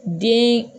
Den